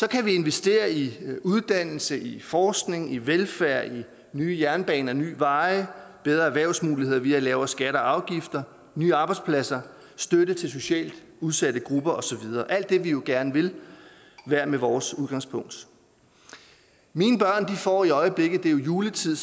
kan vi investere i uddannelse forskning velfærd nye jernbaner nye veje bedre erhvervsmuligheder via lavere skatter og afgifter nye arbejdspladser støtte til socialt udsatte grupper og så videre alt det vi jo gerne vil hver med vores udgangspunkt mine børn får i øjeblikket det er jo juletid